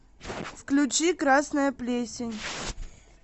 включи красная плесень